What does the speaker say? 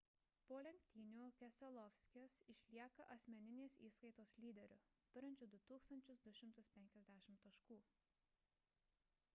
po lenktynių keselowskis išlieka asmeninės įskaitos lyderiu turinčiu 2 250 taškų